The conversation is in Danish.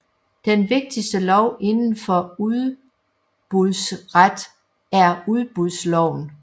Den vigtigste lov indenfor udbudsret er udbudsloven